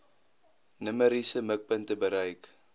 numeriese mikpunte bereik